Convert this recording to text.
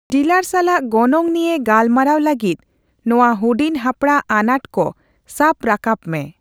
Dealer ᱥᱟᱞᱟᱜ ᱜᱚᱱᱚᱝ ᱱᱤᱭᱟᱹ ᱜᱟᱞᱢᱟᱨᱟᱣ ᱞᱟᱹᱜᱤᱫ ᱱᱚᱣᱟ ᱦᱩᱰᱤᱧ ᱦᱟᱯᱲᱟᱜ ᱟᱱᱟᱴ ᱠᱚ ᱥᱟᱵ ᱨᱟᱠᱟᱵᱽ ᱢᱮ ᱾